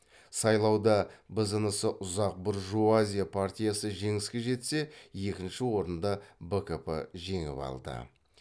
сайлауда бзнс ұсақ буржуазия партиясы жеңіске жетсе екінші орынды бкп жеңіп алды